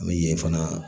An bɛ yen fana